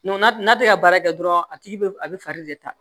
n'a tɛ ka baara kɛ dɔrɔn a tigi be a be fari de ta